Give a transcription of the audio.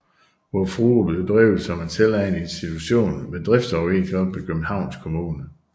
Vor Frue blev drevet som en selvejende institution med driftsoverenskomst med Københavns Kommune